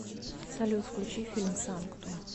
салют включи фильм санктум